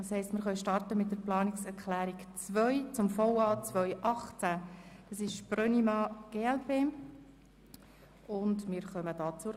Das heisst, wir starten mit der Planungserklärung 2 von Grossrat Brönnimann, glp, zum VA 2018.